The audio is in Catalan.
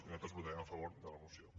i nosaltres votarem a favor de la moció